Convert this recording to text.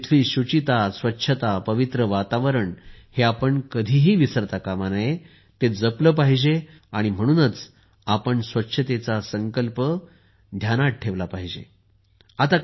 तेथील शुचिता स्वच्छता पवित्र वातावरण हे आपण कधीही विसरता काम नये ते जपले पाहिजे आणि म्हणूनच आपण स्वच्छतेचा संकल्प लक्षात ठेवणे आवश्यक आहे